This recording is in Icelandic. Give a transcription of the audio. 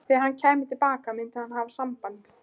Þegar hann kæmi til baka myndi hann hafa samband.